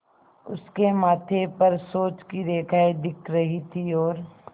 उसके माथे पर सोच की रेखाएँ दिख रही थीं और